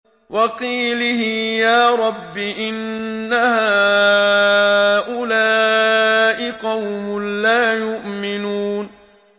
وَقِيلِهِ يَا رَبِّ إِنَّ هَٰؤُلَاءِ قَوْمٌ لَّا يُؤْمِنُونَ